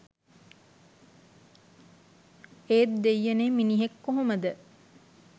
ඒත් දෙයියනේ මිනිහෙක් කොහොමද